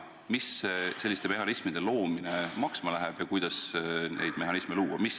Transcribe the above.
Mis selliste mehhanismide loomine maksma läheb ja kuidas neid mehhanisme luua?